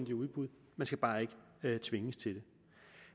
i udbud man skal bare ikke tvinges til det